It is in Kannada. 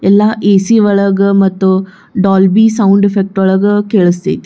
ಎಲ್ಲಾ ಎ.ಸಿ. ಒಳಗ್ ಮತ್ತು ಡೋಲ್ಬಿ ಸೌಂಡ್ ಎಫೆಕ್ಟ್ ಒಳಗ್ ಕೇಳಸ್ತೈತಿ.